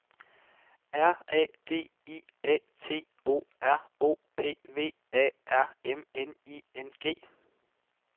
R A D I A T O R O P V A R M N I N G